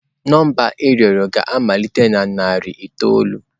Nọmba ị rịọrọ ga-amalite na narị itoolu.